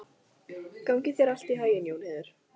Gangi þér allt í haginn, Jónheiður.